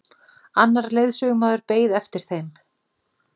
Annar leiðsögumaður beið eftir þeim.